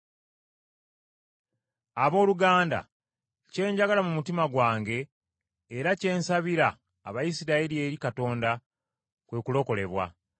Abooluganda, kye njagala mu mutima gwange era kye nsabira Abayisirayiri eri Katonda, kwe kulokolebwa.